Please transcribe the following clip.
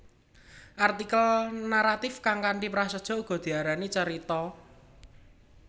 Artikel naratif kang kanthi prasaja uga diarani carita